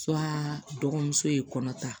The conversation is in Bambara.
dɔgɔmuso ye kɔnɔ ta